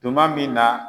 Tuma min na